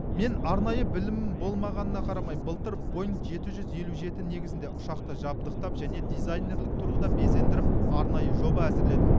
мен арнайы білімім болмағанына қарамай былтыр боинг жеті жүз елу жеті негізінде ұшақты жабдықтап және дизайнерлік тұрғыда безендіріп арнайы жоба әзірледім